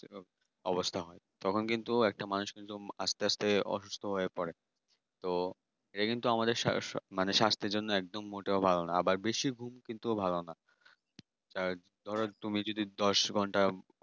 অবস্থা হয় তখন কিন্তু একটা মানুষ কিন্তু আস্তে আস্তে অসুস্থ হয়ে পড়ে তো এটা কিন্তু আমাদের সারা শরীর মানে স্বাস্থ্যের জন্য একদম মোটেও ভালো না আবার বেশি ঘুমানো ভালো না ধরো তুমি যদি দশ ঘন্টা